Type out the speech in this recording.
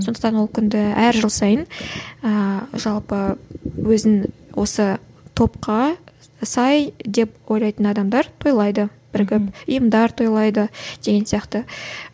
сондықтан ол күнді әр жыл сайын ііі жалпы өзін осы топқа сай деп ойлайтын адамдар тойлайды бірігіп ұйымдар тойлайды деген сияқты